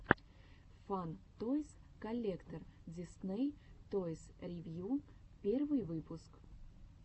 фан тойс коллектор дисней тойс ревью первый выпуск